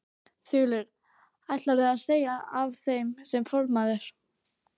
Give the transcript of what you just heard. Þulur: Ætlarðu að segja af þér sem formaður?